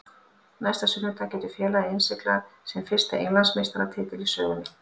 Næsta sunnudag getur félagið innsiglað sinn fyrsta Englandsmeistaratitil í sögunni.